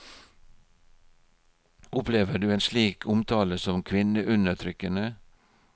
Opplever du en slik omtale som kvinneundertrykkende?